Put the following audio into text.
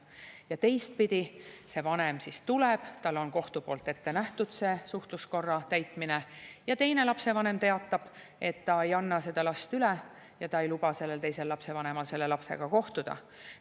Ja teistpidi, see vanem siis tuleb, tal on kohtu poolt ette nähtud suhtluskorra täitmine, aga teine lapsevanem teatab, et ta ei anna seda last üle ja ta ei luba teisel lapsevanemal lapsega kohtuda.